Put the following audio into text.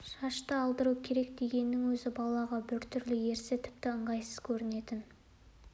шашты алдыру керек дегеннің өзі балаға біртүрлі ерсі тіпті ыңғайсыз көрінетін